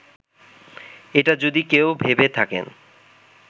এটা যদি কেউ ভেবে থাকেন